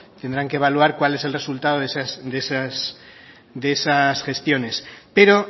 tendrán que evaluar cuál es el resultado de esas gestiones pero